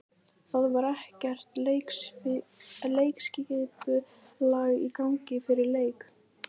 Það var ekkert leikskipulag í gangi fyrir leiki.